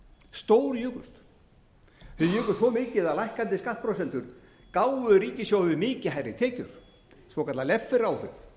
stórjukust þeir jukust svo mikið að lækkandi skattprósentur gáfu ríkissjóði mikið hærri tekjur svokallaða lefferábyrgð á